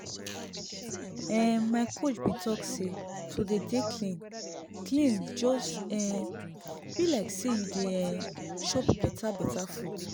ehn my coach bin talk say to dey dey clean clean just um bi like say you dey um chop beta beta food